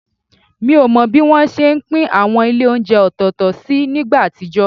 Mi ò mọ bí wọ́n ṣe ń pín àwọn ilé oúnjẹ ọ̀tọ̀ọ̀tọ̀ sí nígbà àtijọ́